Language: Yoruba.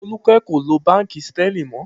Folúkẹ́ kò lo Báńkì Sterling mọ́.